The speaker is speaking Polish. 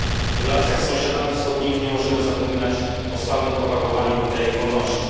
W relacjach z sąsiadami wschodnimi nie możemy zapominać o stałym propagowaniu idei wolności.